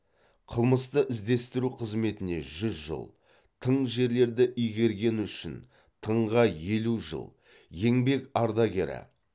қылмысты іздестіру қызметіне жүз жыл тың жерлерді игергені үшін тыңға елу жыл еңбек ардагері